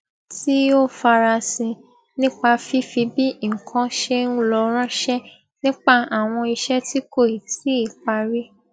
tí ó farasin nípa fífi bí nnkan ṣe n lọ ránṣẹ nípa àwọn iṣẹ tí kò tíì parí